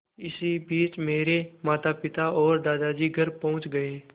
इसी बीच मेरे मातापिता और दादी घर पहुँच गए